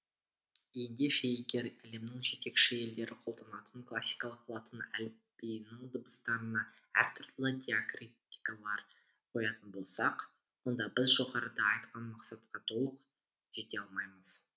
ендеше егер әлемнің жетекші елдері қолданатын классикалық латын әліпбиінің дыбыстарына әртүрлі диакритикалар қоятын болсақ онда біз жоғарыда айтқан мақсатқа толық жете алмаймыз